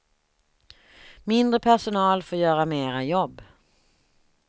Mindre personal får göra mera jobb.